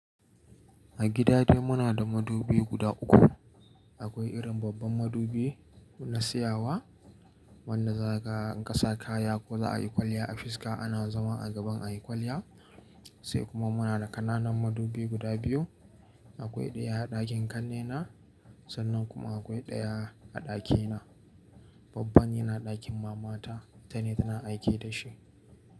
A gida dai muna da madubi guda uku. Akwai irin babban madubi na tsayawa wanda za kaga in kasa kaya ko za a yi kwalliya a fiska ana zama a gaban a yi kwalliya. Sai kuma muna da ƙananan madubi guda biyu. Akwai ɗaya a ɗakin ƙannena sannan kuma akwai ɗaya a ɗakina. Babban yana ɗakin mamata, ita ne tana aiki da shi.